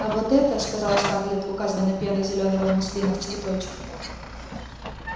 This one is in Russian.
а вот это сказала скарлетт указывая на пену зелёного муслина в цветочек